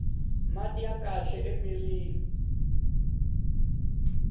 mati ya kahle mirhini